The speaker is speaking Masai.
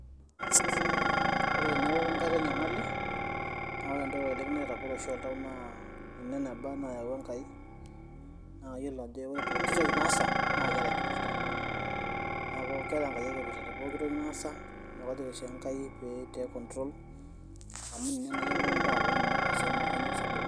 Ore teneeku ake enkata enyamali naa ore entoki oleng naitagol oshi oltau naa ene neba naayawua Enkai naa kayiolo ajo ore poki toki naasa naa keeta enkipirrta neeku keeta Enkai enkipirrta te poki toki naasa neeku kajoki oshiake enkai pee iteek control amu ninye nayiolo mbaa pooki naaagira aasa naa kanyio sababu.